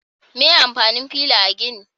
Me amfanin fila a gini?